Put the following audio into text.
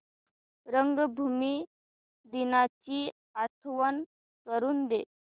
रंगभूमी दिनाची आठवण करून दे